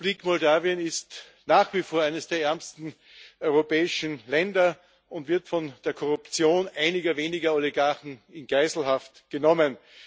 Die Republik Moldau ist nach wie vor eines der ärmsten europäischen Länder und wird von der Korruption einiger weniger Oligarchen in Geiselhaft genommen.